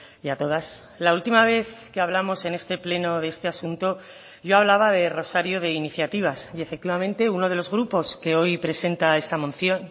y a todas la última vez que hablamos en este pleno de este asunto yo hablaba de rosario de iniciativas y efectivamente uno de los grupos que hoy presenta esta moción